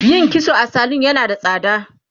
yin kitso a salun yana da tsada